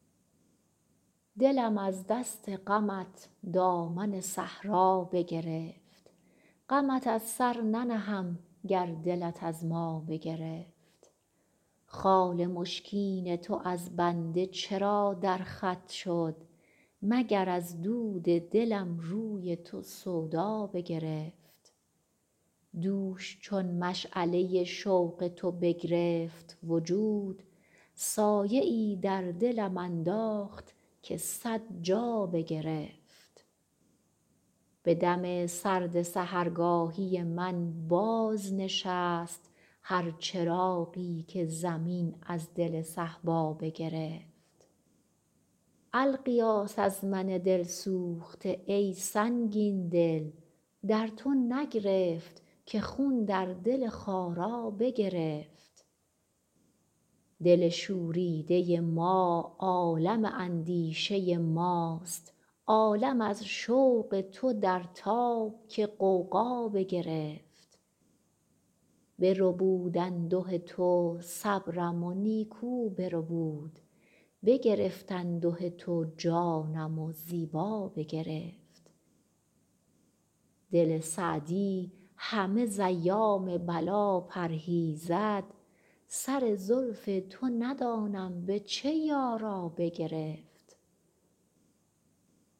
دلم از دست غمت دامن صحرا بگرفت غمت از سر ننهم گر دلت از ما بگرفت خال مشکین تو از بنده چرا در خط شد مگر از دود دلم روی تو سودا بگرفت دوش چون مشعله شوق تو بگرفت وجود سایه ای در دلم انداخت که صد جا بگرفت به دم سرد سحرگاهی من بازنشست هر چراغی که زمین از دل صهبا بگرفت الغیاث از من دل سوخته ای سنگین دل در تو نگرفت که خون در دل خارا بگرفت دل شوریده ما عالم اندیشه ماست عالم از شوق تو در تاب که غوغا بگرفت بربود انده تو صبرم و نیکو بربود بگرفت انده تو جانم و زیبا بگرفت دل سعدی همه ز ایام بلا پرهیزد سر زلف تو ندانم به چه یارا بگرفت